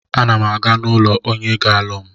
A na m aga n'ụlọ onye ga-alụ m.